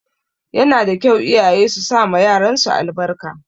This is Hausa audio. Yana da kyau iyaye su sama yaran su albarka